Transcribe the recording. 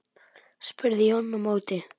spurði Jón á móti.